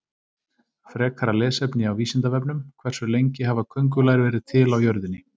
Frekara lesefni á Vísindavefnum: Hversu lengi hafa köngulær verið til á jörðinni?